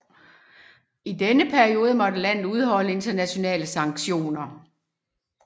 I denne periode måtte landet udholde internationale sanktioner